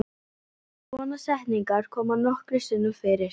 Svona setningar koma nokkrum sinnum fyrir.